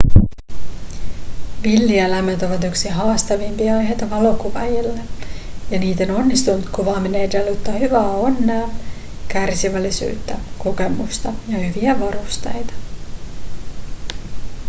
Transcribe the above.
villieläimet ovat yksi haastavimpia aiheita valokuvaajalle ja niiden onnistunut kuvaaminen edellyttää hyvää onnea kärsivällisyyttä kokemusta ja hyviä varusteita